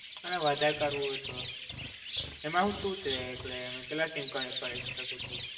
અને વધારે કરવું હોય તો? એમાં શું છે, એટલે એમાં કેટલા SIM card કરી શકું છું?